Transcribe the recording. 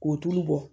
K'o tulu bɔ